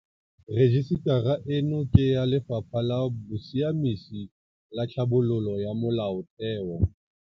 Rejisetara eno ke ya Lefapha la Bosiamisi le Tlhabololo ya Molaotheo.